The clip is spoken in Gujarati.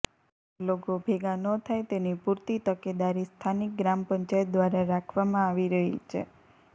લોકો ભેગા ન થાય તેની પુરતી તકેદારી સ્થાનિક ગ્રામ પંચાયત ઘ્વારા રાખવામાં આવી રહી છે